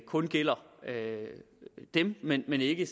kun gælder dem men ikke